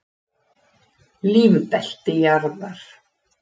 Lífbelti jarðar.